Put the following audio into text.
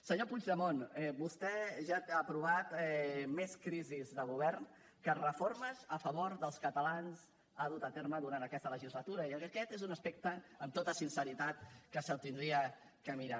senyor puigdemont vostè ja ha aprovat més crisis de govern que reformes a favor dels catalans ha dut a terme durant aquesta legislatura i aquest és un aspecte amb tota sinceritat que se l’hauria de mirar